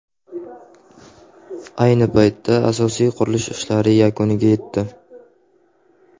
Ayni paytda asosiy qurilish ishlari yakuniga yetdi.